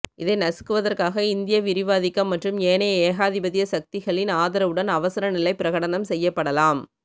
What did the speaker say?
இதை நசுக்குவதற்காக இந்திய விரிவாதிக்கம் மற்றும் ஏனைய ஏகாதிபத்திய சக்திகளின் ஆதரவுடன் அவசரநிலை பிரகடனம் செய்யப்படலாம்